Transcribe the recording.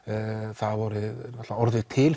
það hafa orðið til